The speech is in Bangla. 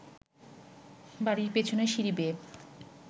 বাড়ির পেছনের সিঁড়ি বেয়ে